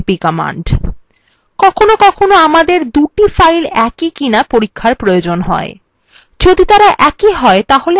কখনও কখনও আমাদের দুটি files একই কিনা পরীক্ষার প্রয়োজন হয় যদি তারা একই হয় তাহলে আমরা তাদের থেকে একটা কে মুছে ফেলতে পারি